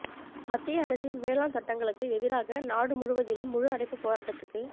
மத்திய அரசின் வேளாண் சட்டங்களுக்கு எதிராக நாடு முழுவதிலும் முழு அடைப்புப் போராட்டத்துக்கு